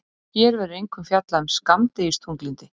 hér verður einkum fjallað um skammdegisþunglyndi